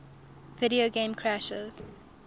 video game crash